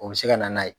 O bɛ se ka na n'a ye